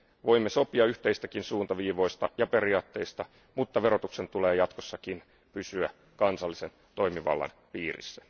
Voimme sopia yhteisistä suuntaviivoista ja periaatteista, mutta verotuksen tulee jatkossakin pysyä kansallisen toimivallan piirissä.